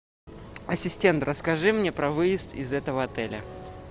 ассистент расскажи мне про выезд из этого отеля